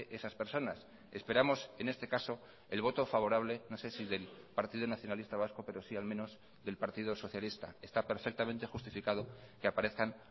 esas personas esperamos en este caso el voto favorable no sé si del partido nacionalista vasco pero sí al menos del partido socialista está perfectamente justificado que aparezcan